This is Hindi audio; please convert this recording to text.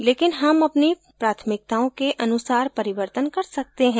लेकिन हम अपनी प्राथमिकताओं के अनुसार परिवर्तन कर सकते हैं